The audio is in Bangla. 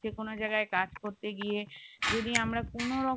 যে কোনও জায়গায় কাজ করতে গিয়ে যদি আমরা কোনো রকম